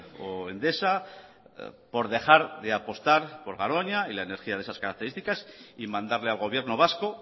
o endesa por dejar de apostar por garoña y la energía de esas características y mandarle al gobierno vasco